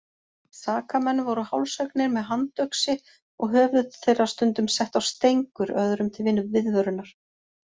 Sakamenn voru hálshöggnir með handöxi og höfuð þeirra stundum sett á stengur öðrum til viðvörunar.